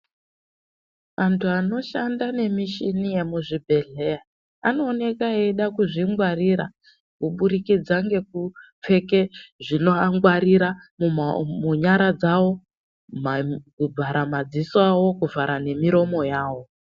Antu anoshanda ne michini yemuzvi bhedhleya ano oneka eida kuzvi ngwarira kubudikidza ngeku pfeke zvinova ngwarira munyara dzawo kubvara madziso kuvhara ne miromo yavo.